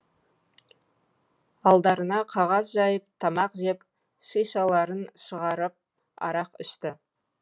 алдарына қағаз жайып тамақ жеп шишаларын шығарып арақ ішті